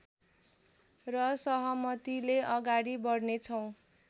र सहमतिले अगाडि बढ्नेछौँ